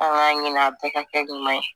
An k'a ɲin'a bɛɛ ka kɛ ɲuman ye